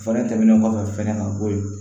Fɛɛrɛ tɛmɛnen kɔfɛ fɛnɛ ka bɔ yen